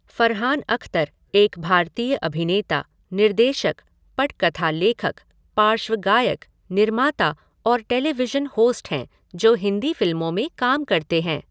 फ़रहान अख्तर एक भारतीय अभिनेता, निर्देशक, पटकथा लेखक, पार्श्व गायक, निर्माता और टेलीविशन होस्ट हैं जो हिंदी फ़िल्मों में काम करते हैं।